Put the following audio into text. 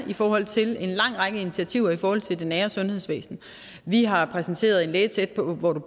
i forhold til en lang række initiativer i forhold til det nære sundhedsvæsen vi har præsenteret en læge tæt på på